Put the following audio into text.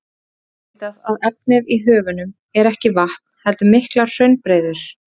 Nú er vitað að efnið í höfunum er ekki vatn heldur miklar hraunbreiður.